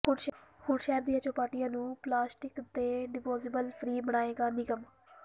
ਹੁਣ ਸ਼ਹਿਰ ਦੀਆਂ ਚੌਪਾਟੀਆਂ ਨੂੰ ਪਲਾਸਟਿਕ ਤੇ ਡਿਸਪੋਜ਼ੇਬਲ ਫ੍ਰੀ ਬਣਾਏਗਾ ਨਿਗਮ